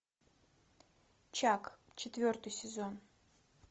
чак четвертый сезон